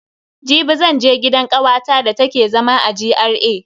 Jibi zan je gidan kawata da take zama a GRA.